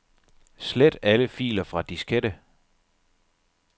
Slet alle filer fra diskette.